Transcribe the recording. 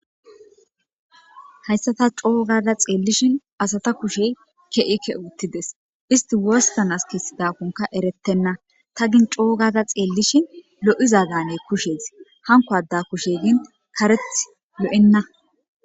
Haysa ta coo gada xeelishin asata kushe ke'i ke'i uthidies isti wostanas kesidakonka eretena ta gin coo gada xeelishin lo'iza daanes kushezi hanko ada kushe gin karethi lo'ena.